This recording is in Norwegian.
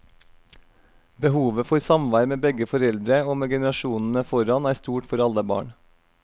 Behovet for samvær med begge foreldre, og med generasjonene foran, er stort for alle barn.